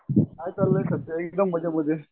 हाय चाललंय सध्या मजेमजेत.